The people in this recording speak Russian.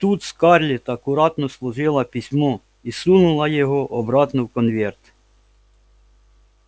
тут скарлетт аккуратно сложила письмо и сунула его обратно в конверт